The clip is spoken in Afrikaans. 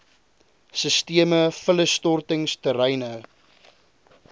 sisteme vullisstortings terreine